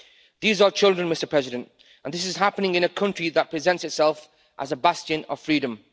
These are children, and this is happening in a country that presents itself as a bastion of freedom.